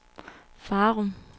Farum